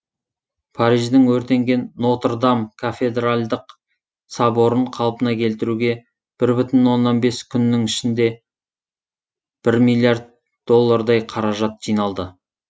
париждің өртенген нотр дам кафедральдық соборын қалпына келтіруге бір бүтін оннан бес күннің ішінде бір миллиард доллардай қаражат жиналды